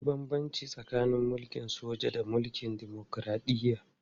Akwai babban bambanci tsakanin mulkin soja da gwamnatin dimokuradiyya